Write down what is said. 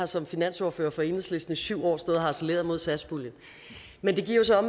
som finansordfører for enhedslisten i syv år stod jeg og harcelerede mod satspuljen men det giver jo så